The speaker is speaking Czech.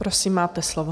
Prosím, máte slovo.